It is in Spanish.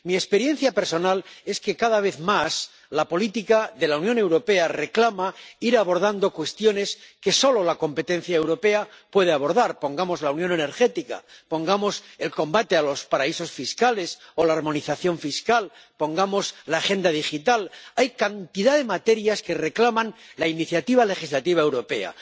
Mi experiencia personal es que, cada vez más, la política de la Unión Europea reclama ir abordando cuestiones que solo la competencia europea puede abordar —pongamos la unión energética, pongamos el combate contra los paraísos fiscales o la armonización fiscal, pongamos la Agenda Digital—, hay cantidad de materias que reclaman la iniciativa legislativa europea.